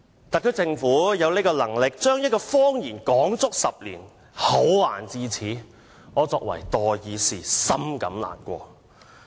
特區政府有能力將一個謊言說了足足10年，厚顏至此，身為代議士，深感難過。